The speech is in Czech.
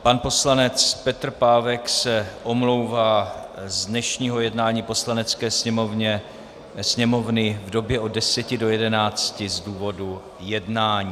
Pan poslanec Petr Pávek se omlouvá z dnešního jednání Poslanecké sněmovny v době od 10.00 do 11.00 z důvodu jednání.